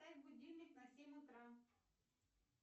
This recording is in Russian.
поставь будильник на семь утра